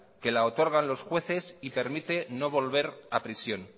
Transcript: que la otorgan los jueces y permite no volver a prisión